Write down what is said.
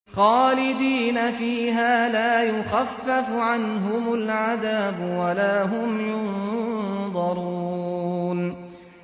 خَالِدِينَ فِيهَا لَا يُخَفَّفُ عَنْهُمُ الْعَذَابُ وَلَا هُمْ يُنظَرُونَ